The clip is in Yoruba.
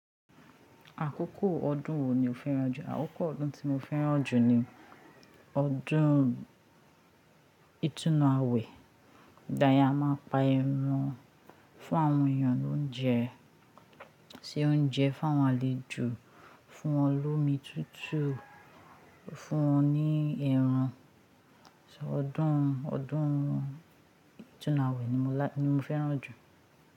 Àkókò ọdún wo ni o fẹ́ràn jù? Àkókò ọdún tí mo fẹ́ràn jù ni ọdún ìtúnu àwẹ̀. Ìgbayẹn a máa ń pa ẹran fún àwọn èèyàn lóúnjẹ, ṣe oúnjẹ fún awọn alejò fún wọn lómi tútù, fún wọn ní ẹran. Ṣé ọdún, ọdún ìtúnu àwẹ̀ ni mo lá-- ni mo fẹ́ràn jù.